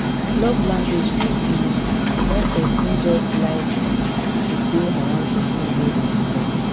Love language fit be when persin just like to de around persin wey im love